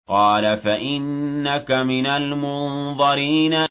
قَالَ فَإِنَّكَ مِنَ الْمُنظَرِينَ